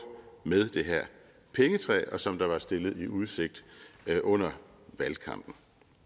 med det her pengetræ og som der var stillet i udsigt under valgkampen